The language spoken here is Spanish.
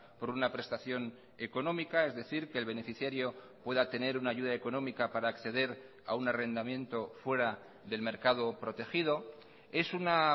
por una prestación económica es decir que el beneficiario pueda tener una ayuda económica para acceder a un arrendamiento fuera del mercado protegido es una